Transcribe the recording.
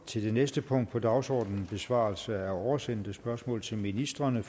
til næste punkt på dagsordenen besvarelse af oversendte spørgsmål til ministrene